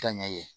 Ka ɲɛ ye